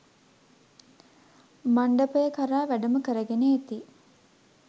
මණ්ඩපය කරා වැඩම කරගෙන එති.